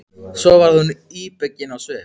Svo varð hún íbyggin á svip.